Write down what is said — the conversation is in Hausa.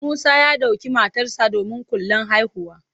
Musa ya ɗauki matarsa ​​domin kulan haihuwa.